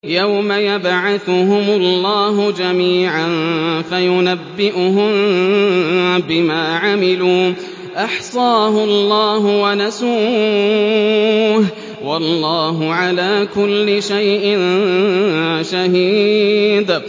يَوْمَ يَبْعَثُهُمُ اللَّهُ جَمِيعًا فَيُنَبِّئُهُم بِمَا عَمِلُوا ۚ أَحْصَاهُ اللَّهُ وَنَسُوهُ ۚ وَاللَّهُ عَلَىٰ كُلِّ شَيْءٍ شَهِيدٌ